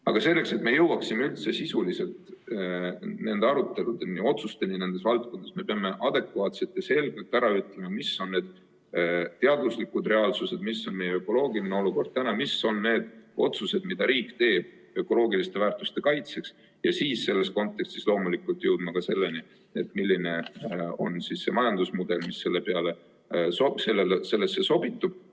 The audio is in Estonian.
Aga selleks, et me jõuaksime üldse sisuliselt nende aruteludeni ja otsusteni nendes valdkondades, me peame adekvaatselt ja selgelt ära ütlema, mis on need teaduslikud reaalsused, mis on meie ökoloogiline olukord, mis on need otsused, mida riik teeb ökoloogiliste väärtuste kaitseks, ja siis selles kontekstis loomulikult jõudma ka selleni, milline on see majandusmudel, mis sellesse sobitub.